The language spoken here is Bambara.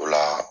O la